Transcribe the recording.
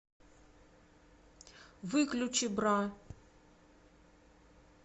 выключи бра